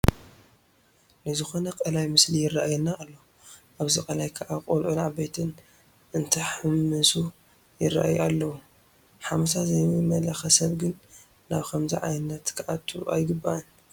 ናይዝኾነ ቀላይ ምስሊ ይርአየና ኣሎ፡፡ ኣብዚ ቀላይ ከዓ ቆልዑን ዓበይትን እንትሕምሉ ይርአዩ ኣለዉ፡፡ ሓመሳ ዘይመለኸ ሰብ ግን ናብ ከምዚ ዓይነት ክኣቱ ኣይግባእን፡፡